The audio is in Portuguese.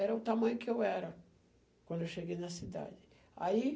Era o tamanho que eu era quando eu cheguei na cidade.